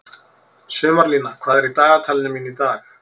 Sumarlína, hvað er í dagatalinu mínu í dag?